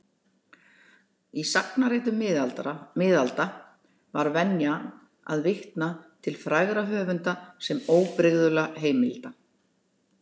Í sagnaritum miðalda var venjan að vitna til frægra höfunda sem óbrigðulla heimilda.